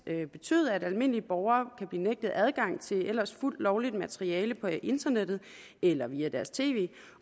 betyde at almindelige borgere kan blive nægtet adgang til ellers fuldt lovligt materiale på internettet eller via deres tv